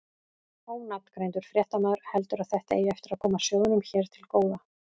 Ónafngreindur fréttamaður: Heldurðu að þetta eigi eftir að koma sjóðnum hér til góða?